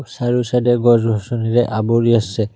চাৰিও সাইডে গছ গছনিৰে আৱৰি আছে।